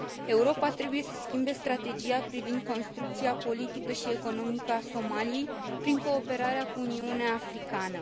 Europa trebuie să schimbe strategia privind construcția politică și economică a Somaliei, prin cooperarea cu Uniunea Africană.